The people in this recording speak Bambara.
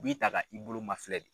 U b'i ta ka i bolo ma filɛ de.